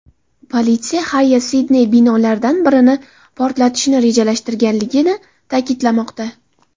Politsiya Xayya Sidney binolaridan birini portlatishni rejalashtirganligini ta’kidlamoqda.